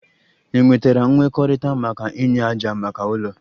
Ị nwetara nkwekọrịta maka inye ájá maka ụlọ?